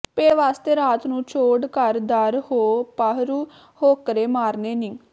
ਪੇਟ ਵਾਸਤੇ ਰਾਤ ਨੂੰ ਛੋਡ ਘਰ ਦਰ ਹੋ ਪਾਹਰੂ ਹੋਕਰੇ ਮਾਰਨੇ ਨੀ